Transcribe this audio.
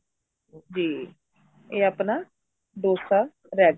ਜੀ ਇਹ ਆਪਣਾ dosa ready